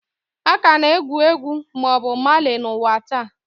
A ka na-egwu egwu Bobu Mali n'ụwa taa.